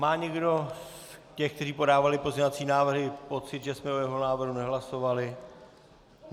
Má někdo z těch, kteří podávali pozměňovací návrhy, pocit, že jsme o jeho návrhu nehlasovali?